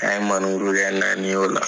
An ye maneburu kɛ naani o la.